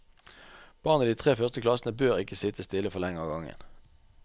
Barn i de tre første klassene bør ikke sitte stille for lenge av gangen.